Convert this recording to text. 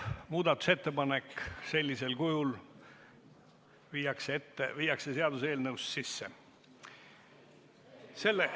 Muudatusettepanek sellisel kujul viiakse seaduseelnõusse sisse.